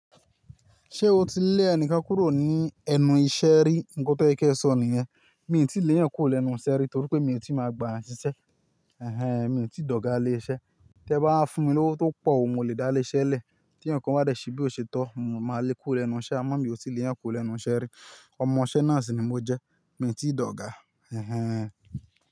Ṣé o ti lé ẹnikan kúrò ní ẹnu iṣẹ́ rí? Nkan tó yẹ kẹsọ̀ nìyẹn. Mi ò tíì léèyàn kúrò lẹ́nu iṣẹ́ rí torí pé mi ò tíì máa gba n ṣiṣẹ́. Ẹ̀hẹn. Mi ò tíì dọ̀gà lé iṣẹ́. Tẹ bá wa fún mi lówó tó pọ̀ o, mo le dá lé iṣẹ́ lẹ̀. Tí èèyàn ǹkan bá dẹ̀ ṣe bí ò ṣe tó, mo máa lé e kúrò lẹ́nu iṣẹ́, àmọ́ mi ò tíì lé yan kúrò lẹ́nu iṣẹ́ rí. Ọmọ iṣẹ́ náà sì ni mo jẹ́, mi ò tíì dọ̀gà. Ẹ̀hẹn.